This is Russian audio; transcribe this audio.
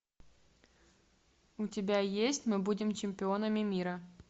у тебя есть мы будем чемпионами мира